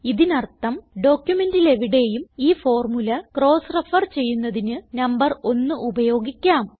ഇതിനർത്ഥം ഡോക്യുമെന്റിലെവിടേയും ഈ ഫോർമുല ക്രോസ് റെഫർ ചെയ്യുന്നതിന് നമ്പർ ഒന്ന് ഉപയോഗിക്കാം